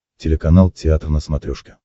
телеканал театр на смотрешке